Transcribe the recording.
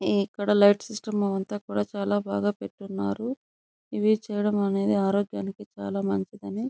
హ్మ్మ్ ఇక్కడ light system అంట కూడా చాల బాగా పెట్టునారు. ఇవి చేయడం అనేది ఆరోగ్యానికి చాల మంచిదని --